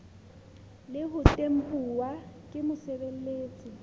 le ho tempuwa ke mosebeletsi